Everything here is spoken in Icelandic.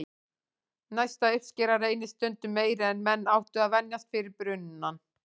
Næsta uppskera reynist stundum meiri en menn áttu að venjast fyrir brunann.